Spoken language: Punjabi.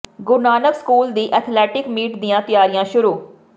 ਗੁਰੂ ਨਾਨਕ ਸਕੂਲ ਦੀ ਐਥਲੈਟਿਕ ਮੀਟ ਦੀਆਂ ਤਿਆਰੀਆਂ ਸ਼ੁਰੂ